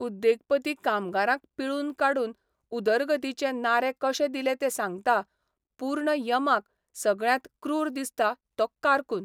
उद्येगपती कामगारांक पिळून काडून उदरगतीचे नारे कशे दिले तें सांगता पूर्ण यमाक सगळ्यांत क्रूर दिसता तो कारकून.